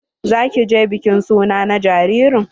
Za ki je bikin suna na jaririn?